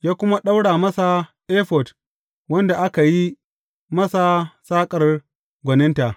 Ya kuma ɗaura masa efod wanda aka yi masa saƙar gwaninta.